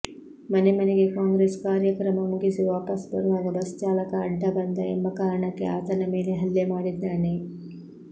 ಮನೆಮನೆಗೆ ಕಾಂಗ್ರೆಸ್ ಕಾರ್ಯಕ್ರಮ ಮುಗಿಸಿ ವಾಪಸು ಬರುವಾಗ ಬಸ್ ಚಾಲಕ ಅಡ್ಡ ಬಂದ ಎಂಬ ಕಾರಣಕ್ಕೆ ಆತನ ಮೇಲೆ ಹಲ್ಲೆಮಾಡಿದ್ದಾನೆ